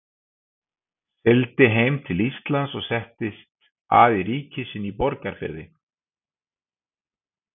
Sigldi hann heim til Íslands og settist að ríki sínu í Borgarfirði.